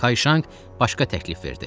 Kayşanq başqa təklif verdi.